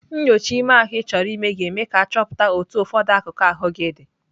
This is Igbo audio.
Nnyocha ime ahụ Ị chọrọ ime ka eme ka achọpụta otu ụfọdụ akụkụ ahụ gị dị.